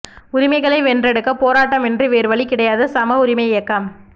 உரிமைகளை வென்றெடுக்க பேராட்டமின்றி வேறு வழி கிடையாது சம உரிமை இயக்கம்